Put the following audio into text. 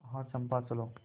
आह चंपा चलो